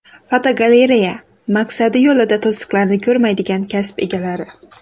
Fotogalereya: Maqsadi yo‘lida to‘siqlarni ko‘rmaydigan kasb egalari.